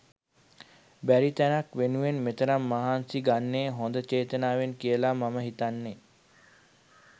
බැරි තැනක් වෙනුවෙන් මේ තරම් මහන්සි ගන්නේ හොඳ චේතනාවෙන් කියලා මම හිතන්නේ